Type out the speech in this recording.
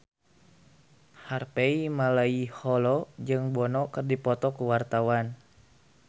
Harvey Malaiholo jeung Bono keur dipoto ku wartawan